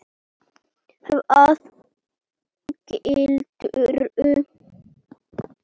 Hvaða gildru?